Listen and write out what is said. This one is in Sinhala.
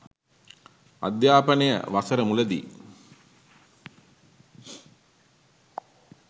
අධ්‍යාපනය වසර මුලදී